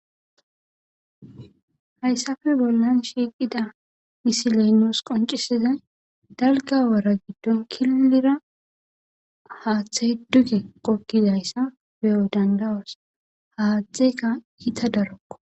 hayssafe bollan shiiqida isileynoos qoncisiza dalga wara giddon killira haaththe hedduge qokkidayssa beyo dandawos haathtxeka iita darokko